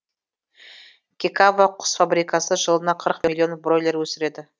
кекава құс фабрикасы жылына қырық миллион бройлер өсіреді